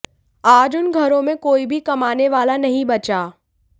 आज उन घरों में कोई भी कमाने वाला नहीं बचा